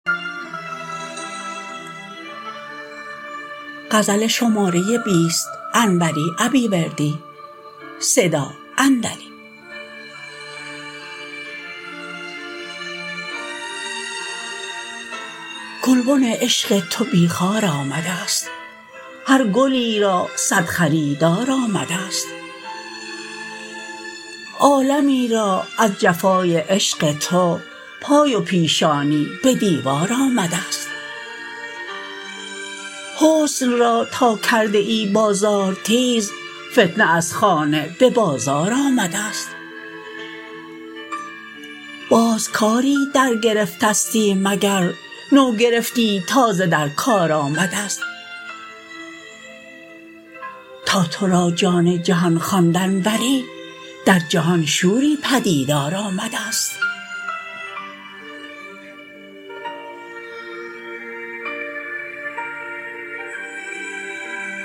گلبن عشق تو بی خار آمدست هر گلی را صد خریدار آمدست عالمی را از جفای عشق تو پای و پیشانی به دیوار آمدست حسن را تا کرده ای بازار تیز فتنه از خانه به بازار آمدست باز کاری درگرفتستی مگر نو گرفتی تازه در کار آمدست تا ترا جان جهان خواند انوری در جهان شوری پدیدار آمدست